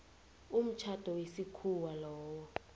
umtjhado wesikhuwa lowo